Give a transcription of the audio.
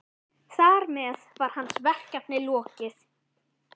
Þar með var hans verkefni lokið.